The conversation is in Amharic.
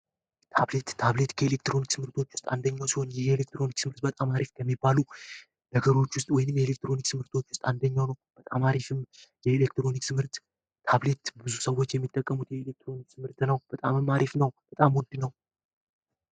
ታብሌት፦ ታብሌት ከኤሌክትሮኒክስ ምርቶች ውስጥ አንደኛው ሲሆን ኤሌክትሮኒክስ ምርት በጣም አሪፍ ከሚባሉ ነገሮች ወይም ኤሌክትሮኒክሶች ውስጥ አንደኛው ነው። በጣም አሪፍ ኤሌክትሮኒክስ ምርት ብዙ ሰዎች የሚጠቀሙት የኤሌክትሮኒክስ ትምህርት ነው። በጣምም አሪፍ ነው በጣም ውድ ነው።